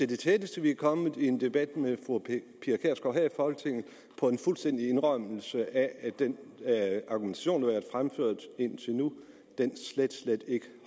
det tætteste vi er kommet i en debat med fru pia i folketinget på en fuldstændig indrømmelse af at den argumentation været fremført indtil nu slet slet ikke